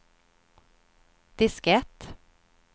diskett